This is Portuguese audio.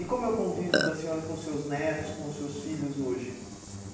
E como é o convívio da senhora com seus netos, com seus filhos hoje?